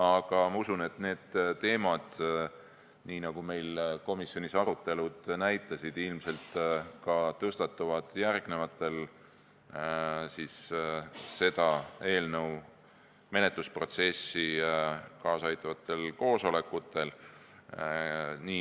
Aga ma usun, et need teemad, nii nagu arutelud komisjonis näitasid, ilmselt tõstatuvad järgnevatel selle eelnõu menetlusprotsessile kaasa aitavatel koosolekutel.